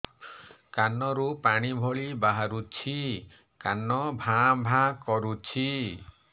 କାନ ରୁ ପାଣି ଭଳି ବାହାରୁଛି କାନ ଭାଁ ଭାଁ କରୁଛି